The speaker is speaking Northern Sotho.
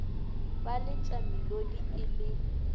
ba letša melodi e le